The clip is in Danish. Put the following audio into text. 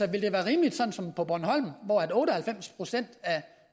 rimeligt som på bornholm hvor otte og halvfems procent af